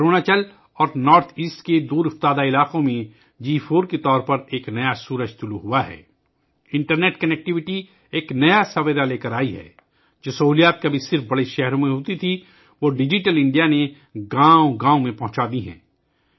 اروناچل اور شمال مشرق کے دور دراز علاقوں میں 4 جی کے طور پر ایک نیا سورج طلوع ہوا ہے، انٹرنیٹ کنیکٹیویٹی ایک نئی صبح لے کر آئی ہے ، جو سہولتیں کبھی صرف بڑے شہروں میں دستیاب تھیں، ڈیجیٹل انڈیا نے انہیں ہر گاؤں تک پہنچا دیا ہے